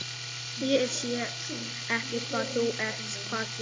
Ég sé ekki hvað þau eru að gera.